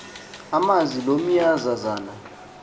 amazi lo meazazana